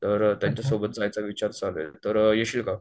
तर त्यांच्या सोबत जायचा विचार चालूय तर येशील का?